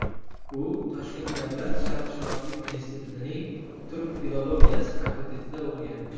U Toshkent davlat sharqshunoslik institutining turk filologiyasi fakultetida o‘qigan.